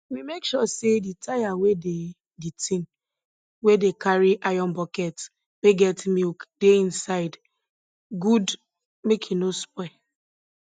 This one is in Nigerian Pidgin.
we make sure say the tire wey dey de tin we dey carry iron buckets wey get milk dey inside good make e nor spoil